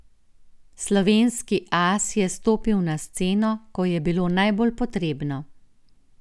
Slovenski as je stopil na sceno, ko je bilo najbolj potrebno.